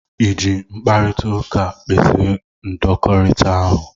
I ji mkparịta ụka kpezie ndọkọrita ahụ?